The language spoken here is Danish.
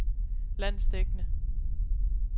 landsdækkende